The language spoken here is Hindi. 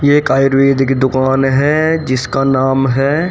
ये एक आयुर्वेदिक दुकान है जिसका नाम है--